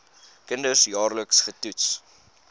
kinders jaarliks getoets